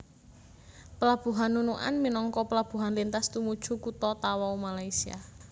Pelabuhan Nunukan minangka pelabuhan lintas tumuju kutha Tawau Malaysia